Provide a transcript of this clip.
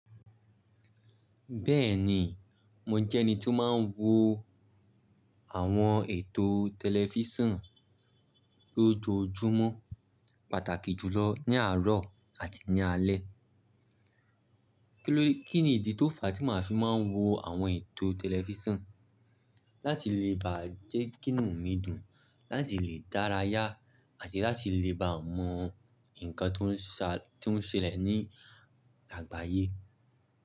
Bẹ́ẹ̀ni, mo jẹ́ ẹni tí ó máa ń wo àwọn ètò tẹlifísàn lójoojúmọ́, pàtàkì jùlọ ní àárọ̀ àti ní alé. Kí ni ìdí tó fa tí màá fi máa ń wo àwọn ètò tẹlifísàn? Láti lè bá jẹ́ kí inú mi dùn, láti lè dára yá àti láti lè bá mọ nǹkan tó ń ṣẹlẹ̀ ní àgbáyé.